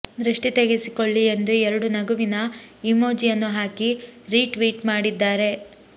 ದೃಷ್ಟಿ ತೆಗೆಸಿಕೊಳ್ಳಿ ಎಂದು ಎರಡು ನಗುವಿನ ಎಮೋಜಿಯನ್ನು ಹಾಕಿ ರೀಟ್ವೀಟ್ ಮಾಡಿದ್ದಾರೆ